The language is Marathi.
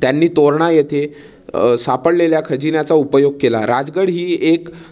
त्यांनी तोरणा येथे सापडलेल्या खजिन्याचा उपयोग केला. राजगड हि एक